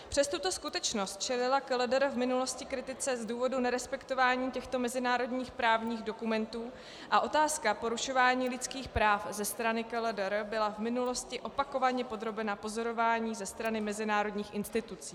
Přes tuto skutečnost čelila KLDR v minulosti kritice z důvodu nerespektování těchto mezinárodních právních dokumentů a otázka porušování lidských práv ze strany KLDR byla v minulosti opakovaně podrobena pozorování ze strany mezinárodních institucí.